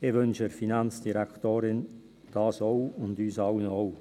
Das wünsche ich der Finanzdirektorin auch und uns allen ebenfalls.